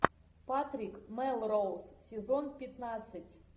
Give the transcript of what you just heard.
патрик мелроуз сезон пятнадцать